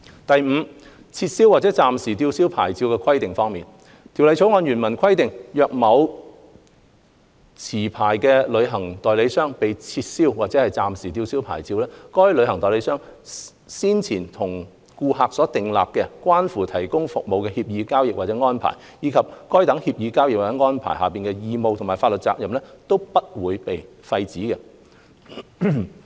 第五，撤銷或暫時吊銷牌照的規定方面，《條例草案》原文規定，若某持牌旅行代理商被撤銷或暫時吊銷牌照，該旅行代理商先前與顧客訂立、關乎提供旅遊服務的協議、交易或安排，以及該等協議、交易或安排下的義務和法律責任，並不會被廢止。